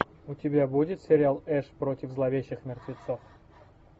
у тебя будет сериал эш против зловещих мертвецов